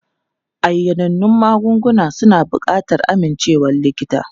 Ayanannun magungunan suna buƙatar amincewar likita.